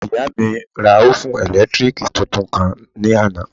Ìyá mi ra òfún ẹ̀lẹ́tírìkì tuntun kan ní àná